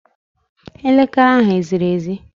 Elekere ahu eziri ezi?